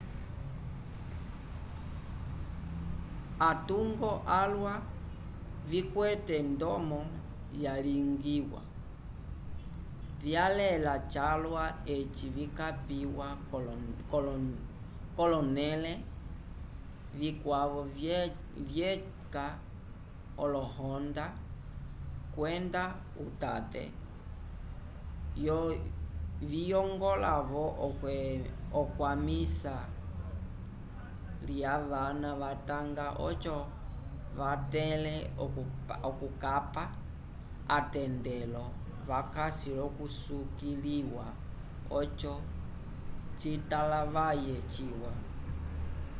atungo alwa vikwete ndomo vyalingiwa vyalela calwa eci vikapiwa k'olonẽle vikwavo vyeca olohonda kwenda utate viyongola-vo ekwamiso lyavana vatanga oco vatẽle okukapa atendelo vakasi l'okusukiliwa oco citalavaye ciwa